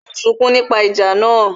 Ó ń sunkún nípa ìjà náà